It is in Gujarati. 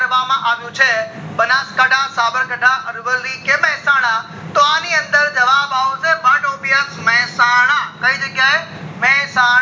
કરવામાં આવ્યું છે બનાસઠા, સાબરકાઠા, અરવલ્લી કે મહેસાણા તો આની અંદર જવાબ આવશે મહેસાણા કય જગ્યા એ મહેસાણા